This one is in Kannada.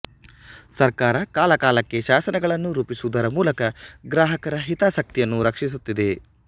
ಸರ್ಕಾರ ಕಾಲಕಾಲಕ್ಕೆ ಶಾಸನಗಳನ್ನು ರೂಪಿಸುವುದರ ಮೂಲಕ ಗ್ರಾಹಕರ ಹಿತಾಸಕ್ತಿಯನ್ನು ರಕ್ಷಿಸುತ್ತಿದೆ